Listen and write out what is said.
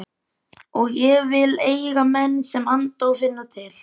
Og ég vil eiga menn sem anda og finna til.